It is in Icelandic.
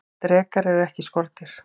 drekar eru ekki skordýr